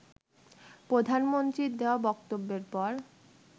প্রধানমন্ত্রীর দেয়া বক্তব্যের পর